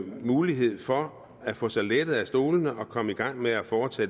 mulighed for at få sig lettet fra stolene og komme i gang med at foretage